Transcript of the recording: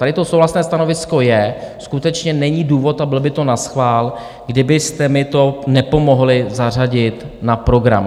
Tady to souhlasné stanovisko je, skutečně není důvod a bylo by to naschvál, kdybyste mi to nepomohli zařadit na program.